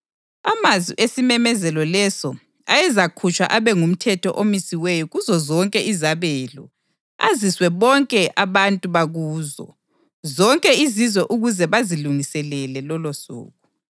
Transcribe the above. Amazwi esimemezelo leso ayezakhutshwa abe ngumthetho omisiweyo kuzozonke izabelo, aziswe bonke abantu bakuzo zonke izizwe ukuze bazilungiselele lolosuku.